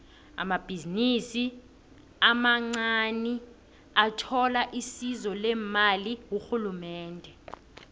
amabhizinisi amancaniathola isizo lemali kurhulumende